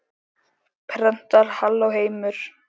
Prentar Halló, heimur!